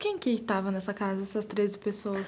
Quem que estava nessa casa, essas treze pessoas?